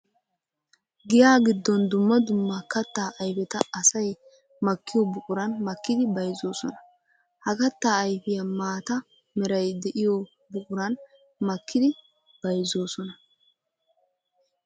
Giya giddon dumma dumma katta ayfetta asay makkiyo buquran makkiddi bayzzosonna. Ha katta ayfiya maata meray de'iyo buquran makkiddi bayzzosonna.